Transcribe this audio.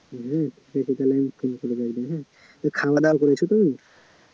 হ্যা সেটা তালে আমি phone করে একদিন হ্যা খাওয়া দাওয়া করেছ তো